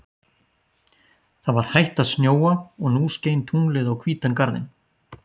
Það var hætt að snjóa og nú skein tunglið á hvítan garðinn.